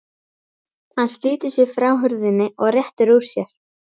Hann slítur sig frá hurðinni og réttir úr sér.